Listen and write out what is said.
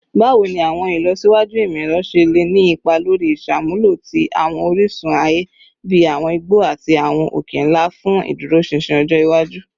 Bawo ni awọn ilọsiwaju imọ-ẹrọ ṣe le ni ipa lori iṣamulo ti awọn orisun aye bi awọn igbo ati awọn oke-nla fun iduroṣinṣin ọjọ iwaju?